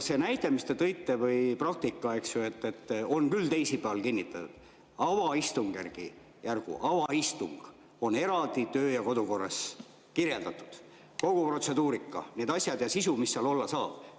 See näide, mis te tõite, või praktika, et on küll teisipäeval kinnitatud – avaistungjärgu avaistung on eraldi töö‑ ja kodukorras kirjeldatud, kogu protseduurika, need asjad ja sisu, mis seal olla saab.